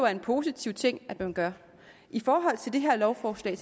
er en positiv ting at man gør i forhold til det her lovforslag